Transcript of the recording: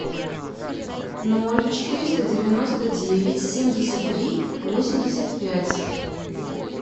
ноль четыреста девяносто девять семьдесят три восемьдесят пять